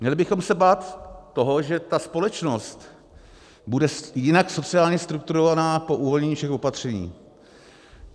Měli bychom se bát toho, že ta společnost bude jinak sociálně strukturovaná po uvolnění všech opatření.